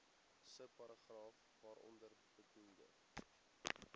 subparagraaf waaronder bedoelde